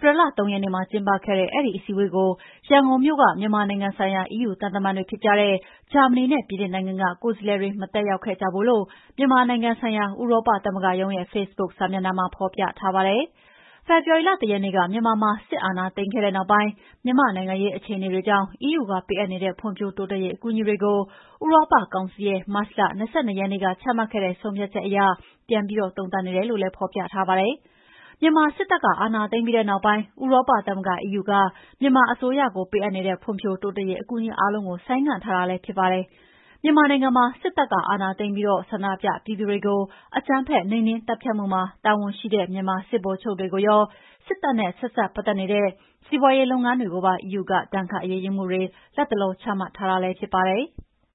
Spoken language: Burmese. ပြီလ ၃ ရက်နေ့မှာကျင်းပခဲ့တဲ့ အဲဒီအစည်းအဝေးကိုတော့ ရန်ကုန်မြို့က မြန်မာနိုင်ငံဆိုင်ရာ EU သံတမန်တွေဖြစ်ကြတဲ့ ဂျာမဏီနဲ့ ပြင်သစ်နိုင်ငံက ကိုယ်စားလှယ်တွေ မတက်ရောက်ခဲ့ကြဘူးလို့ မြန်မာနိုင်ငံဆိုင်ရာ ဥရောပသမဂ္ဂသံရုံးရဲ့ ဖေ့ဘုတ်စာမျက်နှာမှာ ဖော်ပြထားပါတယ်။ ဖေဖော်ဝါရီလ ၁ ရက်နေ့က မြန်မာနိုင်ငံမှာ စစ်တပ်က အာဏာသိမ်းခဲ့တဲ့နောက်ပိုင်း မြန်မာ့နိုင်ငံရေးအခြေအနေတွေကြောင့် EU ကပေးအပ်နေတဲ့ ဖွံ့ဖြိုးတိုးတက်ရေးအကူအညီတွေကို ဥရောပကောင်စီရဲ့မတ်လ ၂၂ ရက်နေ့ကချမှတ်ခဲ့တဲ့ဆုံးဖြတ်ချက်အရ ပြန်ပြီးသုံးသပ် နေတယ်လို့လည်း ဖော်ပြထားပါတယ်။ မြန်မာစစ်တပ်က အာဏာသိမ်းပြီးတဲ့နောက်ပိုင်း ဥရောပသမဂ္ဂ အီးယူက မြန်မာအစိုးရကို ပေးအပ်နေတဲ့ ဖွံ့ဖြိုးတိုးတက်ရေးအကူအညီအားလုံးကို ဆိုင်းငံ့ထားတာလည်းဖြစ်ပါတယ်။ မြန်မာနိုင်ငံမှာ စစ်တပ်က အာဏာသိမ်းပြီး ဆန္ဒပြပြည်သူတွေကို အကြမ်းဖက်နှိမ်နှင်းသတ်ဖြတ်မှုမှာ တာဝန်ရှိတဲ့မြန်မာစစ်ဗိုလ်ချုပ်တွေကိုရော စစ်တပ်နဲ့ ဆက်စပ်ပတ်သက်နေတဲ့ စီးပါွးရေးလုပ်ငန်းတွေကိုပါ EU ကဒ ဏ်ခတ်အေးယူမှုတွေ လတ်တလော ချမှတ်ထားတာလည်းဖြစ်ပါတယ်။